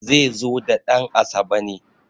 zai zo da dan`asabe ne